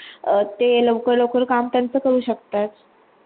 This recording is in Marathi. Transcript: ते लवकर काम त्यांचा करू शकतात